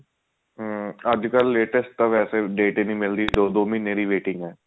ਹਮ ਅੱਜਕਲ latest ਤਾਂ ਵੇਸੇ date ਹੀ ਨਹੀਂ ਮਿਲਦੀ ਦੋ ਦੋ ਮਹੀਨੇ ਦੀ waiting ਹੈ